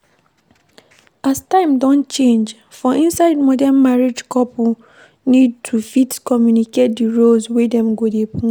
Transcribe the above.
As time don change, for inside modern marriage couple need to fit communicate di roles wey dem go dey play